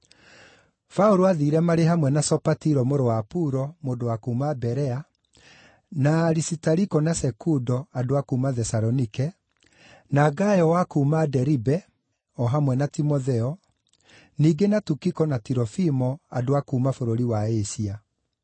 Paũlũ aathiire marĩ hamwe na Sopatiro mũrũ wa Puro, mũndũ wa kuuma Berea, na Arisitariko, na Sekundo, andũ a kuuma Thesalonike, na Gayo wa kuuma Deribe, o hamwe na Timotheo, ningĩ na Tikiko, na Tirofimo, andũ a kuuma bũrũri wa Asia.